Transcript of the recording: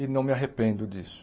E não me arrependo disso.